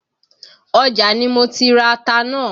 Ọjà ni mo ti ra ata náà.